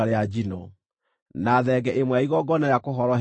na thenge ĩmwe ya igongona rĩa kũhoroherio mehia;